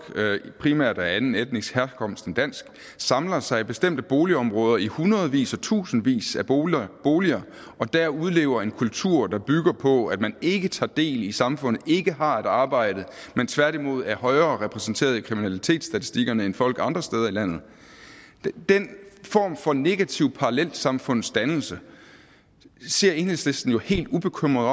primært af anden etnisk herkomst end dansk samler sig i bestemte boligområder i hundredvis og tusindvis af boliger boliger og der udlever en kultur der bygger på at man ikke tager del i samfundet ikke har et arbejde men tværtimod er mere repræsenteret i kriminalitetsstatistikkerne end folk andre steder i landet den form for negativ parallelsamfundsdannelse ser enhedslisten jo helt ubekymret